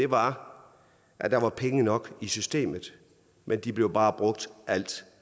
var at der var penge nok i systemet men de blev bare brugt alt